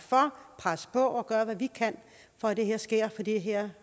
presse på og gøre hvad vi kan for at det her sker for det her